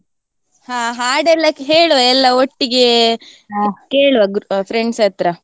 ಹ ಹಾಡೆಲ್ಲ ಹೇಳುವ ಎಲ್ಲಾ ಒಟ್ಟಿಗೆ, ಕೇಳುವ gro~ friends ಹತ್ರ.